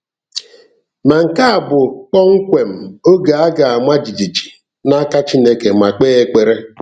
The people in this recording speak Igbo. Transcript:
Ma nke a bụ kpọmkwem oge a ga-ama jijiji n’aka Chineke ma kpee ekpere!